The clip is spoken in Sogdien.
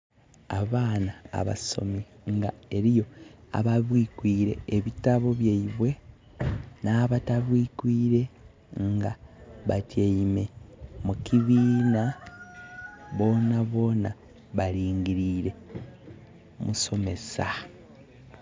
Abaana abasomi nga eliyo ababwikwiire ebitabo byaibwe, nh'abatabwikwiire. Nga batyaime mukibiina, bona bona balingilire musomesa.